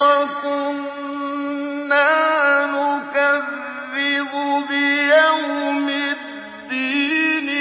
وَكُنَّا نُكَذِّبُ بِيَوْمِ الدِّينِ